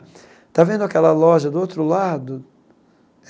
Está vendo aquela loja do outro lado?